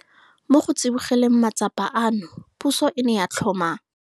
Mo go tsibogeleng matsapa ano, puso e ne ya tlhoma.